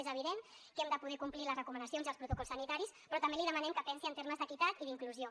és evident que hem de poder complir les recomanacions i els protocols sanitaris però també li demanem que pensi en termes d’equitat i d’inclusió